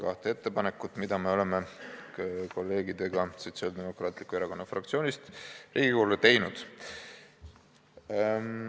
Need on kaks eelnõu, mis me oleme kolleegidega Sotsiaaldemokraatliku Erakonna fraktsioonist Riigikogule esitanud.